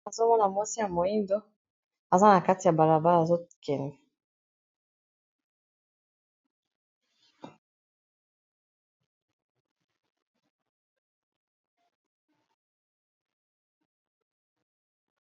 Nazomona mwasi ya moyindo aza na kati ya balabala azokende.